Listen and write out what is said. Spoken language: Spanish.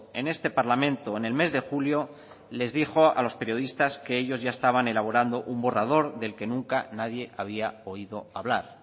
en este parlamento en el mes de julio les dijo a los periodistas que ellos ya estaban elaborando un borrador del que nunca nadie había oído hablar